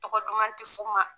Tɔgɔ duman ti f'u ma.